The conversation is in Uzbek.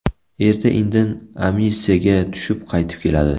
Erta-indin amnistiyaga tushib qaytib keladi.